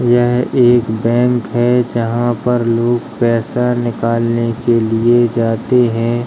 यह एक बैंक है जहाँ पर लोग पैसा निकालने के लिए जाते हैं।